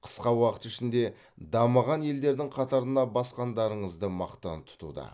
қысқа уақыт ішінде дамыған елдердің қатарына басқандарыңызды мақтан тұтуда